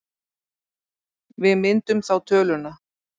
Við myndum þá töluna